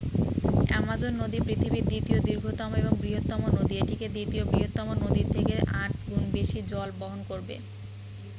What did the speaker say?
Amazon নদী পৃথিবীর দ্বিতীয় দীর্ঘতম এবং বৃহত্তম নদী এটি দ্বিতীয় বৃহত্তম নদীর থেকে 8 গুণ বেশি জল বহন করে